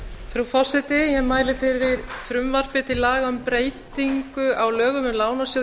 frú forseti eg mæli fyrir frumvarpi til laga um breytingu á lögum um lánasjóð